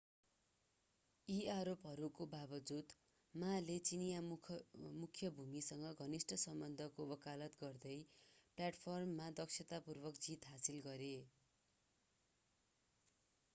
यी आरोपहरूको बावजुद ma ले चिनियाँ मुख्य भूमिसँग घनिष्ट सम्बन्धको वकालत गर्दै प्लेटफर्ममा दक्षतापूर्वक जित हासिल गरे